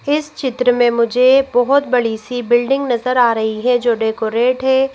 इस चित्र में मुझे बहुत बड़ी सी बिल्डिंग नजर आ रही है जो डेकोरेट है--